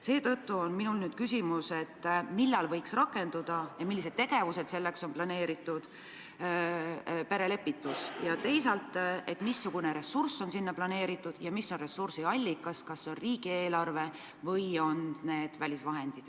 Seetõttu on mul küsimus, millal võiks rakenduda perelepitus ja millised tegevused selleks on planeeritud, ja teisalt, missugune ressurss on selleks planeeritud ja mis on ressursi allikas, kas see on riigieelarve või on need välisvahendid.